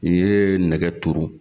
I ye nɛgɛ turu